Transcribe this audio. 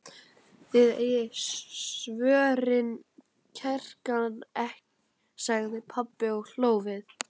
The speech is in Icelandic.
Þið eigið svörin, klerkarnir, sagði pabbi og hló við.